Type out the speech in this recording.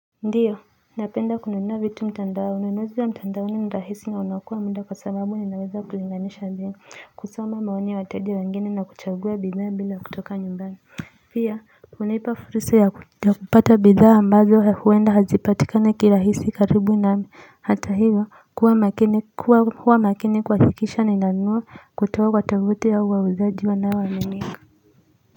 Ndiyo napenda kununua vitu mtandaoni na inozi ya mtandaoni ni rahisi ya unaokoa muda kwa sababu ni naweza kulinganisha bimu kusoma maoni ya wateja wengini na kuchagua bidhaa bila kutoka nyumbani pia hunipa fursa ya kupata bidhaa ambazo huenda hazipatikani kirahisi nami hata hivyo kuwa makini kuhakikisha ninanunua.